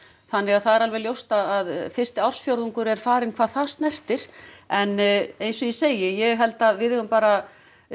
þannig að það er alveg ljóst að fyrsti ársfjórðungur er farinn hvað það snertir en eins og ég segi ég held að við eigum bara